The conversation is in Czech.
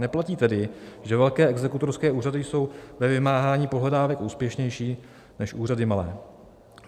Neplatí tedy, že velké exekutorské úřady jsou ve vymáhání pohledávek úspěšnější než úřady malé.